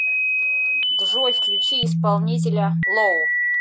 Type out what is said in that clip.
джой включи исполнителя лоу